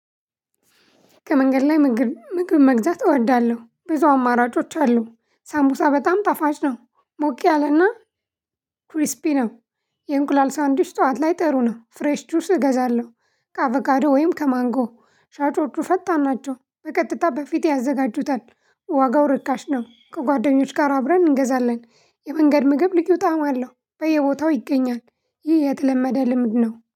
ከመንገድ ላይ ምግብ መግዛት እወዳለሁ ብዙ አማራጮች አሉ ሳምቡሳ በጣም ጠፋጭ ነው ሞቂ ያለና ክሪስፒ ነው። የእንቁላል ሳንዲሽ ጠዋት ላይ ጠሩ ነው ፍሬሽ ጁስ እገዛለሁ። ከአቫጋዶ ወይም ከማንጎ ሻጮቹ ፈታን ናቸው። በቀጥታ በፊት ያዘጋጁታል ዋጋው ርካሽ ነው። ከጓደኞች ጋር አብረን እንገዛለን የመንገድ ምግብ ልዩ ጣዕም አለው በየቦታው ይገኛል። ይህ የተለመደ ልምድ ነው